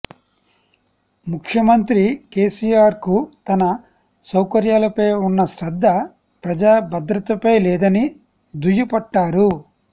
ముఖ్యమంత్రి కేసీఆర్కు తన సౌకర్యాలపై ఉన్న శ్రద్ధ ప్రజా భద్రతపై లేదని దుయ్యబట్టారు